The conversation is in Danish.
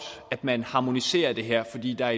at man harmoniserer det her fordi der